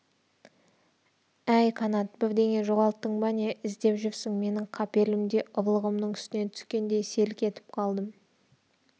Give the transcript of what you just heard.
әй қанат бірдеңе жоғалттың ба не іздеп жүрсің мен қапелімде ұрлығымның үстінен түскендей селк етіп қалдым